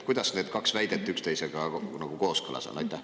Kuidas need kaks väidet üksteisega nagu kooskõlas on?